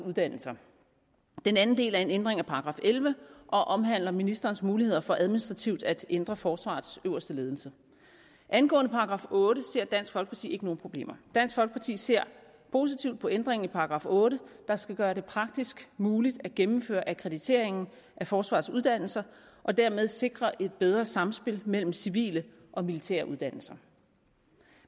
uddannelser den anden del er en ændring af § elleve og omhandler ministerens muligheder for administrativt at ændre forsvarets øverste ledelse angående § otte ser dansk folkeparti ikke nogen problemer dansk folkeparti ser positivt på ændringen i § otte der skal gøre det praktisk muligt at gennemføre akkrediteringen af forsvarets uddannelser og dermed sikre et bedre samspil mellem civile og militære uddannelser